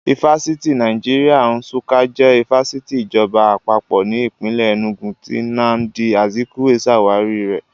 Ifásitì Nàìjíríà Nsukka jẹ́ ifásitì ìjọba Àpapọ̀ ní ìpínlè Ẹnúgu tí Nnamdi Azikwe ṣàwárí rẹ̀